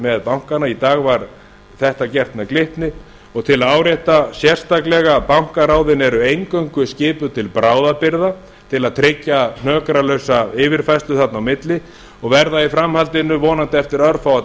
með bankana í dag var þetta gert með glitni og til að árétta sérstaklega að bankaráðin eru eingöngu skipuð til bráðabirgða til að tryggja hnökralausa yfirfærslu þarna á milli og verða í framhaldinu vonandi eftir örfáa